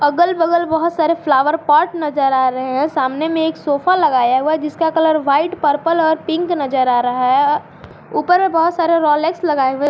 अगल बगल बहुत सारे फ्लावर पॉट नजर आ रहे हैं सामने में एक सोफा लगाया हुआ जिसका कलर व्हाइट पर्पल और पिंक नजर आ रहा है ऊपर में बहुत सारे रोलेक्स लगाए हुए--